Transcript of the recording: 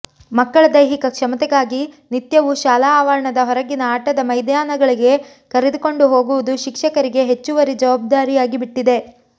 ಮಕ್ಕಳ ದೈಹಿಕ ಕ್ಷಮತೆಗಾಗಿ ನಿತ್ಯವು ಶಾಲಾ ಆವರಣದ ಹೊರಗಿನ ಆಟದ ಮೈದಾನಗಳಿಗೆ ಕರೆದುಕೊಂಡು ಹೋಗುವುದು ಶಿಕ್ಷಕರಿಗೆ ಹೆಚ್ಚುವರಿ ಜವಾಬ್ದಾರಿಯಾಗಿಬಿಟ್ಟಿದೆ